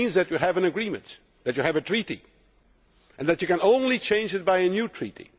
It means that you have an agreement, that you have a treaty, and that you can only change it by a new treaty.